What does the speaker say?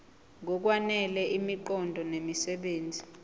ngokwanele imiqondo nemisebenzi